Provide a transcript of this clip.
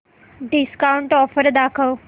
discount offer दाखव